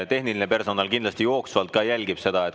Tehniline personal kindlasti jooksvalt jälgib seda.